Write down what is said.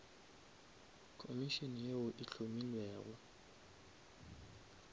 komišene yeo e hlomilwego